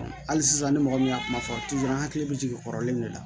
Hali sisan ni mɔgɔ min y'a kuma fɔ an hakili bɛ jigin kɔrɔlen min de la